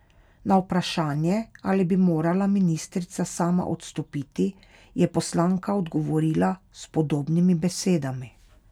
Na vprašanje, ali bi morala ministrica sama odstopiti, je poslanka odgovorila s podobnimi besedami.